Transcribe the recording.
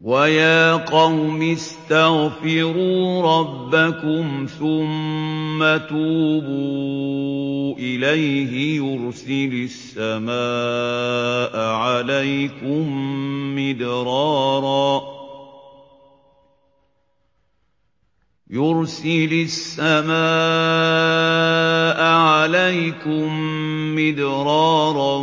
وَيَا قَوْمِ اسْتَغْفِرُوا رَبَّكُمْ ثُمَّ تُوبُوا إِلَيْهِ يُرْسِلِ السَّمَاءَ عَلَيْكُم مِّدْرَارًا